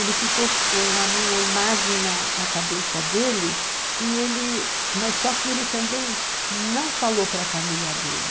Ele ficou com a minha imagem na na cabeça dele, e ele, mas só que ele também não falou para a família dele.